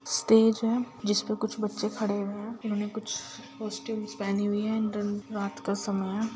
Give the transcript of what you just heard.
Stage है जिस पर कुछ बच्चे खड़े हुए हैं उन्होंने कुछ कॉस्ट्यूमस पहनी हुई है रात का समय है।